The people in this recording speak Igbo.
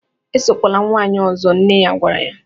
"Esokwala nwanyị ọzọ” nne ya gwara ya